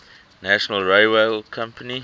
national railway company